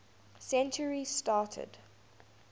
century started